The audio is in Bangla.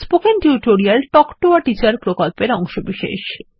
spoken tutorial talk to a teacher প্রকল্পের অংশবিশেষ